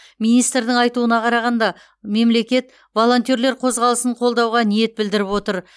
министрдің айтуына қарағанда мемлекет волонтерлар қозғалысын қолдауға ниет білдіріп отыр